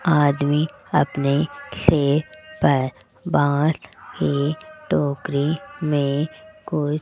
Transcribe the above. आदमी अपने खेत पर बांट एक टोकरी में कुछ --